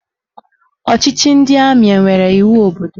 Ọchịchị ndị amị enwere iwu obodo?